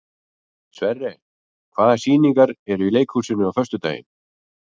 Sverre, hvaða sýningar eru í leikhúsinu á föstudaginn?